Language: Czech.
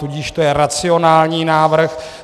Tudíž to je racionální návrh.